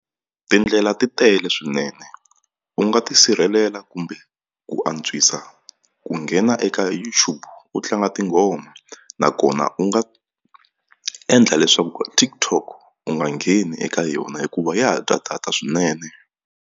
Tindlela ti tele swinene u nga ti sirhelela kumbe ku antswisa ku nghena eka YouTube u tlanga tinghoma nakona u nga endla leswaku TikTok u nga ngheni eka yona hikuva ya heta data swinene.